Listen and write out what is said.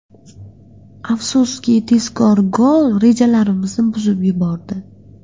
Afsuski tezkor gol rejalarimizni buzib yubordi.